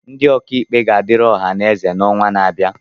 Ndị ọka ikpe ga-adịrị ọha na eze n'ọnwa na-abịa